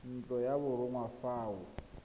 ntlo ya borongwa fa o